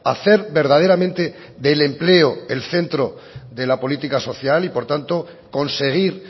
a hacer verdaderamente del empleo el centro de la política social y por tanto conseguir